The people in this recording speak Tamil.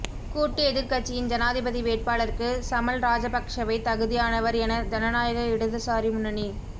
கூட்டு எதிர்க்கட்சியின் ஜனாதிபதி வேட்பாளருக்கு சமல் ராஜபக்ஷவே தகுதியானவர் என ஜனநாயக இடதுசாரி முன்னணி